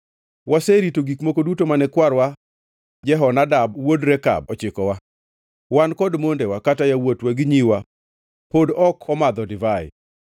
Waserito gik moko duto mane kwarwa Jehonadab wuod Rekab ochikowa. Wan kod mondewa kata yawuotwa gi nyiwa pod ok omadho divai,